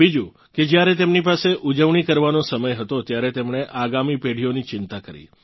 બીજું કે જ્યારે તેમની પાસે ઊજવણી કરવાનો સમય હતો ત્યારે તેમણે આગામી પેઢીઓની ચિંતા કરી